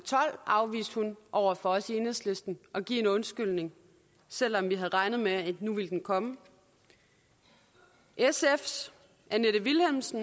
og over for os i enhedslisten at give en undskyldning selv om vi havde regnet med at nu ville den komme sfs annette vilhelmsen